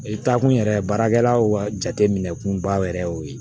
I taa kun yɛrɛ baarakɛlaw ka jatemunba yɛrɛ y'o ye